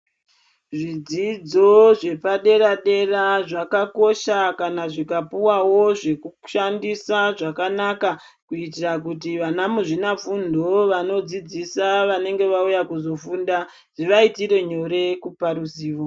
Zvidzidzo zvepadera dera zvakakosha kana zvikapuwawo zvekushandisa zvakanaka kuitira kuti vana muzvina fundo vanodzidzsa vanenge vauya kuzofunda zvivaitire nyore.